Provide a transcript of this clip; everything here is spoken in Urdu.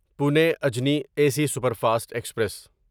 Pune Ajni A C superfast express